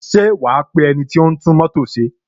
Ṣé wa pe ẹniti o ń tún mótò ṣe?